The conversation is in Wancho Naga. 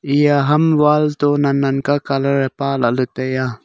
eya ham wall to nan nan ka colour e palahley taiya.